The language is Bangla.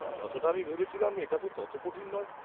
যতটা আমি ভেবেছিলাম এটা তো তত কঠিন নয় ।